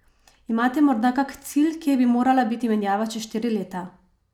Imate morda kak cilj, kje bi morala biti menjava čez štiri leta?